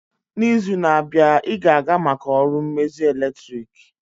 N'izu na-abịa, ị ga-aga maka ọrụ mmezi eletrik?